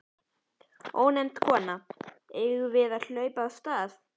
Ónefnd kona: Eigum við að hlaupa af stað?